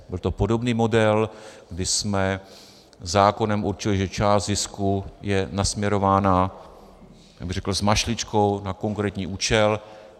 Byl to podobný model, kdy jsme zákonem určili, že část zisku je nasměrována, jak bych řekl, s mašličkou na konkrétní účel.